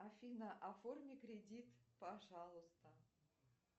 афина оформи кредит пожалуйста